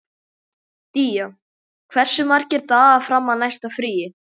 Día, hversu margir dagar fram að næsta fríi?